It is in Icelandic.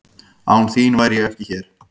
Án þín væri ég ekki hér.